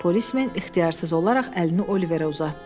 Polismen ixtiyarsız olaraq əlini Oliverə uzatdı.